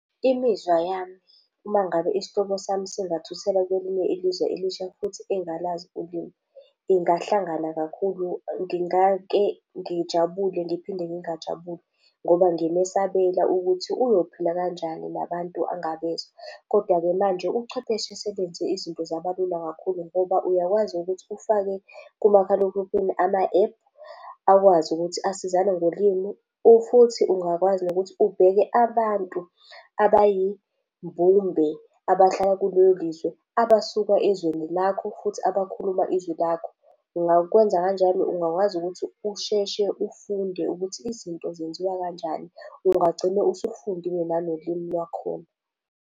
Imizwa yami uma ngabe isihlobo sami singathuthela kwelinye ilizwe elisha futhi engalazi ulimi, ingahlangana kakhulu, ngingake ngijabule ngiphinde ngingajabula. Ngoba ngimesabela ukuthi uyophila kanjani nabantu angabezwa. Kodwa-ke manje ubuchwepheshe sebenza izinto zaba lula kakhulu ngoba uyakwazi ukuthi ufake kumakhalekhukhini ama-app, akwazi ukuthi asizane ngolimi. Futhi ungakwazi nokuthi ubheke abantu abayimbumbe, abahlala kulelo lizwe, abasuka ezweni lakho futhi abakhuluma izwi lakho. Ungakwenza kanjalo, ungakwazi ukuthi usheshe ufunde ukuthi izinto zenziwa kanjani. Ungagcine usufundile nanolimi lwakhona.